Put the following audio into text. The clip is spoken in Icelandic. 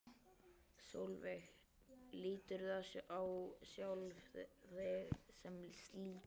Sólveig: Líturðu á sjálfa þig sem slíka?